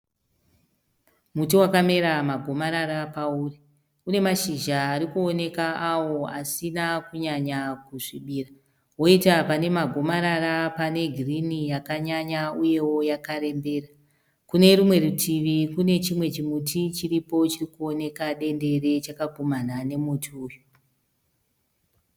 Muti wakamera magomarara akaoma une mazhizha ari kuoneka awo asina kunyanya kusvibira. Woita pane magomarara pane girini yakanyanya yakarembera. Kune rumwe rutivi kune chimwe chimuti chiri kuoneka dendere chakagumana nemuti uyu.